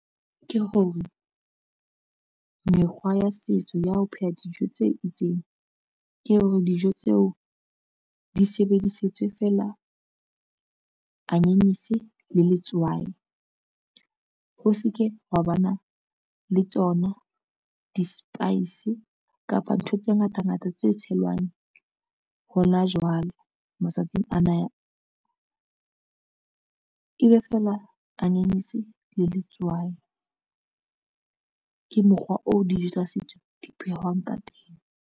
Ke hore, mekgwa ya setso ya ho pheha dijo tse itseng ke hore, dijo tseo di sebedisetswe fela anyanyese le letswai. Ho se ke wa ba na le tsona di-spice kapa ntho tse ngata ngata tse tshelwang hona jwale matsatsing ana, ebe fela anyanyese le letswai ke mokgwa oo dijo tsa setso di phehwang ka teng.